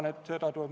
Kõnesoove ei ole.